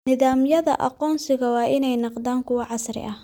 Nidaamyada aqoonsiga waa inay noqdaan kuwo casri ah.